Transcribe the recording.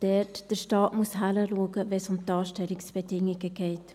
Der Staat muss auch dort hinschauen, wo es um Anstellungsbedingungen geht.